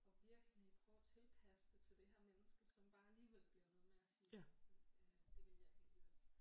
Og virkelig prøve at tilpasse det til det her menneske som bare alligevel bliver ved med at sige øh det vil jeg ikke alligevel